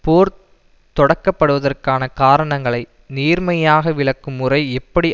போர் தொடக்கப்படுவதற்கான காரணங்களை நேர்மையாக விளக்கும் உரை எப்படி